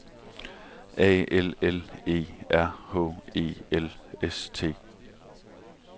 A L L E R H E L S T